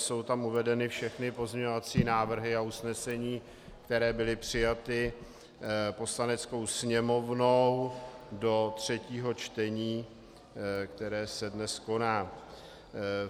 Jsou tam uvedeny všechny pozměňovací návrhy a usnesení, které byly přijaty Poslaneckou sněmovnou do třetího čtení, které se dnes koná.